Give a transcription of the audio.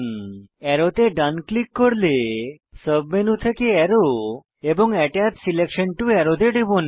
অ্যারোতে ডান ক্লিক করলে সাব মেনু থেকে আরো এবং আত্তাচ সিলেকশন টো আরো তে টিপুন